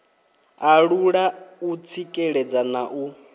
alula u tsikeledza na u